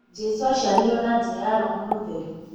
Jesu aciarirwo na njĩra ya roho mũtheru.